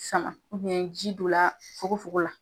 Sama ji don na fogofogo la.